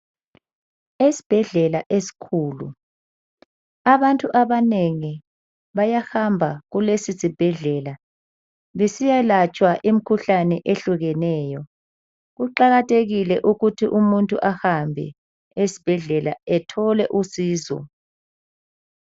Esibhedlela esikhulu abantu abanengi bayahamba kulesi sibhedlela besiyalatshwa imkhuhlane ehlukeneyo. Kuqakathekile ukuthi umuntu ahambe esbhedlela ethole usizo.